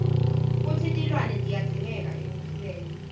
kutsi tilwane tiyadzingeka ekuphileni